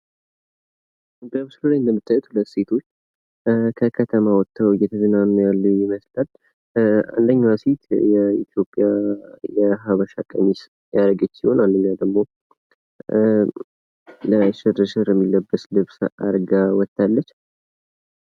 በምስሉ ላይ እንደምታዩት ሁለት ሴቶች ከምስሉ ላይ ወጠው እየተዝናኑ ያሉ ይመስላል። አንደኛዋ ሴት የኢትዮጵያ የሀበሻ ሴት ያደረገች ሲሆን አንደኛዋ ደግሞ ለሽር ሽር የሚለበስ ልብስ አድርጋ ወጣለች።